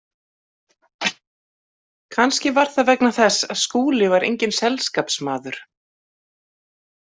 Kannski var það vegna þess að Skúli var enginn selskapsmaður.